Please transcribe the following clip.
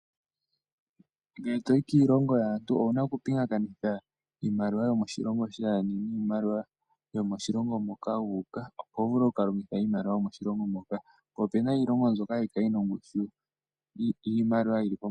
Ngele toyi kiilongo yaantu owuna okupingakanitha iimaliwa yomoshilongo sheni niimaliwa yomoshilongo moka wu uka, opo wuvule oku ka longitha iimaliwa yomoshilongo moka. Opuna iilongo mbyoka hayi kala yina ongushu yiimaliwa yili pombanda.